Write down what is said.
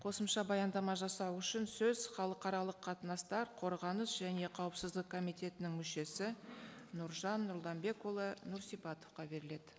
қосымша баяндама жасау үшін сөз халықаралық қатынастар қорғаныс және қауіпсіздік комитетінің мүшесі нұржан нұрланбекұлы нұрсипатовқа беріледі